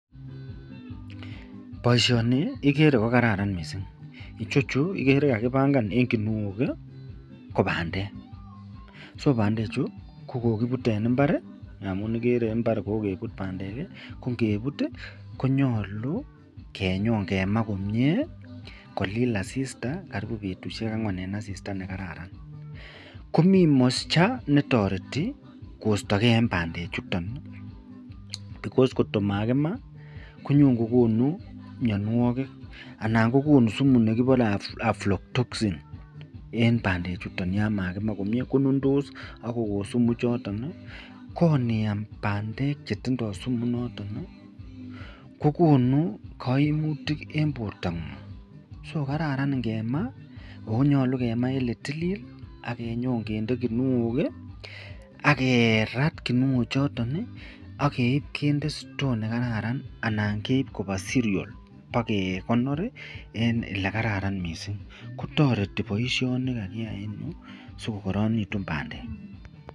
Boishoni ikere ko kararan mising ichechu ikere kakibangan en kinuok ko bandek, so bandechu ko kokibbute en imbar amun ikere imbar kokebut bandek ko ngebut konyolu konyon kemaa komnye kolil asista komnye karibu betushek angwan en asista nekararan, komiin moisture netoreti koistokee en bandechuton because ngot ko makimaa konyon kokonu mionwokik anan ko konuu sumu nekibore aflattoxin en bandechuton yoon makima komie ko nundos ak kokoo sumu ichoton ko iniam bandek chetindo sumu inoton kokonu koimutik en bortangung, so kararan ingemaa onyolu kemaa en etilil ak inyn kinde kinuok ak kerat kinuo choton ak keib kinde sitoo nekararan anan keib koba siriol bakekonor en elekaran mising, kotoreti boishoni kakiyai sikokoronekitun bandek.